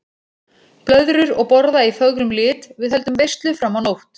Blöðrur og borða í fögrum lit, við höldum veislu fram á nótt.